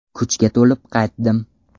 Kuchga to‘lib qaytdim.